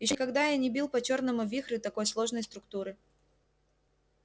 ещё никогда я не бил по чёрному вихрю такой сложной структуры